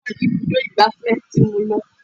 Ìyá mi kò fẹ́ràn ibùdó ìgbà fẹ́ tí mo lọ.